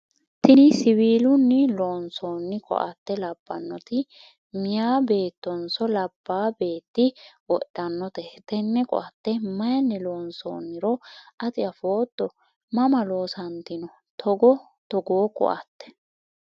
tini siwiilunni loonsoonni koatte labbanoti meyaa beettonso labbaa beetti wodhanote? tenne koatte mayiinni loonsoonniro ati afootto? mama loosantanno togoo koatte?